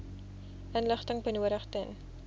inligting benodig ten